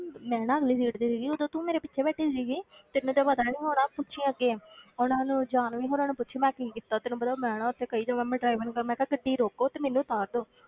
ਮੈਂ ਨਾ ਅਗਲੀ seat ਤੇ ਸੀਗੀ ਉਦੋਂ ਤੂੰ ਮੇਰੇ ਪਿੱਛੇ ਬੈਠੀ ਸੀਗੀ ਤੈਨੂੰ ਤੇ ਪਤਾ ਨੀ ਹੋਣਾ ਪੁੱਛੀ ਅੱਗੇ ਉਹਨਾਂ ਨੂੰ ਜਾਨਵੀ ਹੋਣਾ ਨੂੰ ਪੁੱਛੀ ਮੈਂ ਕੀ ਕੀਤਾ ਤੈਨੂੰ ਪਤਾ ਮੈਂ ਨਾ ਉੱਥੇ ਕਈ ਜਗ੍ਹਾ ਮੈਂ driver ਨੂੰ ਕਿਹਾ ਮੈਂ ਕਿਹਾ ਗੱਡੀ ਰੋਕੋ ਤੇ ਮੈਨੂੰ ਉਤਾਰ ਦਓ,